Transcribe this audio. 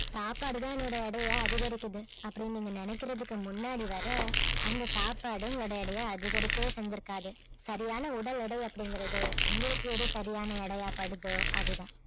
சாப்பாடு தான் என்னுடைய எடையை அதிகரிக்கிறது அப்படின்னு நீங்க நினைக்கிறதுக்கு முன்னாடி வர அந்த சாப்பாடு உங்களுடைய அடைய அதிகரிக்கவே செஞ்சிருக்காது சரியான உடல் எடை அப்படிங்கறது உங்களுக்கு எது சரியான எடையா படுதோ அதுதான்